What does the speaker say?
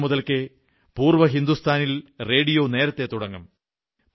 കുട്ടികാലം മുതൽക്കേ പൂർവ്വ ഹിന്ദുസ്ഥാനിൽ റേഡിയോ നേരത്തേ തുടങ്ങും